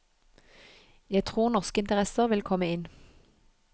Jeg tror norske interesser vil komme inn.